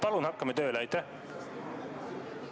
Palun hakkame tööle!